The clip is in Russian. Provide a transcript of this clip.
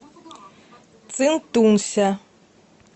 цинтунся